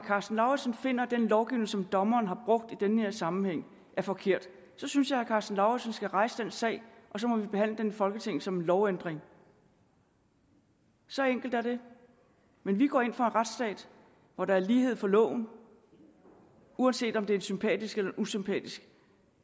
karsten lauritzen finder at den lovgivning som dommeren har brugt i denne sammenhæng er forkert så synes jeg at herre karsten lauritzen skal rejse den sag og så må vi behandle den i folketinget som en lovændring så enkelt er det men vi går ind for en retsstat hvor der er lighed for loven uanset om det er en sympatisk eller en usympatisk